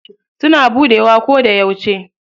Suna buɗewa koda yauce.